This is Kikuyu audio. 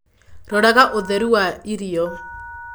Roraga ũtheru wa irio.